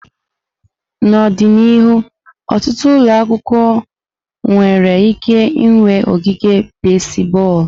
N'ọdịnihu, ọtụtụ ụlọ akwụkwọ nwere ike ịnwe ogige basiboolu.